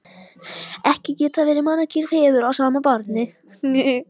Ekki geta verið margir feður að sama barni!